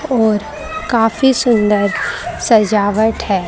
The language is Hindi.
और काफी सुंदर सजावट है।